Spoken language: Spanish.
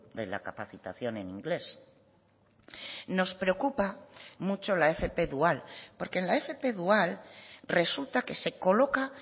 de la capacitación en inglés nos preocupa mucho la fp dual porque en la fp dual resulta que se coloca